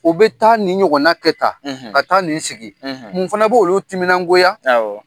U bɛ taa nin ɲɔgɔnna kɛ tan, , ka taa nin sigi , mun fana bɛ olu timinan goya.